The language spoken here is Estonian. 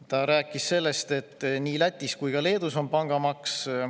Ta rääkis sellest, et nii Lätis kui ka Leedus on pangamaks.